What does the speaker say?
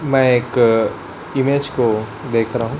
मैं एक इमेज को देख रहा हूं।